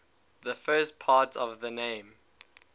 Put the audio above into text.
the first part of the name